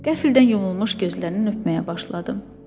Qəflətən yumulmuş gözlərini öpməyə başladım.